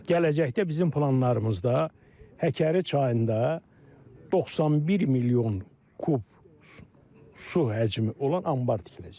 Gələcəkdə bizim planlarımızda Həkəri çayında 91 milyon kub su həcmi olan anbar tikiləcək.